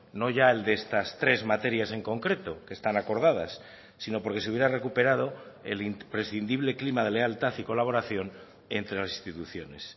no ya el de estas tres materias en concreto que están acordadas sino porque se hubiera recuperado el imprescindible clima de lealtad y colaboración entre las instituciones